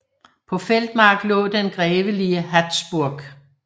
På Feldmark lå den grevelige Hatzburg